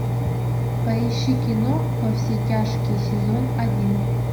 поищи кино во все тяжкие сезон один